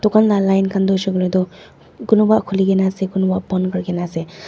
dukan laga line khan tu tu kunuba khule kina ase kunuba bon kori kina ase.